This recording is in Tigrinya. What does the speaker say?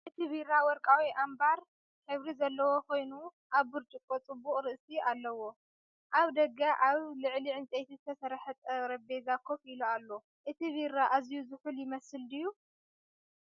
እቲ ቢራ ወርቃዊ ኣምበር ሕብሪ ዘለዎ ኮይኑ ኣብ ብርጭቆ ጽቡቕ ርእሲ ኣለዎ። ኣብ ደገ ኣብ ልዕሊ ዕንጨይቲ ዝተሰርሐ ጠረጴዛ ኮፍ ኢሉ ኣሎ። እቲ ቢራ ኣዝዩ ዝሑል ይመስል ድዩ?